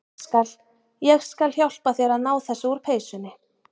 Ég skal. ég skal hjálpa þér að ná þessu úr peysunni.